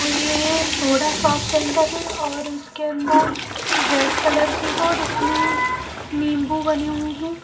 तो ये soda shop centre है और इसके अन्दर रेड कलर की है और इसमें नीम्बू बने हुए हैं।